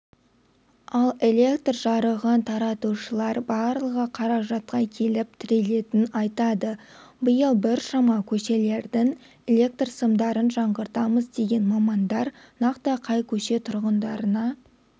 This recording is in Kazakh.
ал электр жарығын таратушылар барлығы қаражатқа келіп тірелетін айтады биыл біршама көшелердің электр сымдарын жаңғыртамыз деген мамандар нақты қай көше тұрғындарына